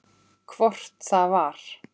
Hvort það var!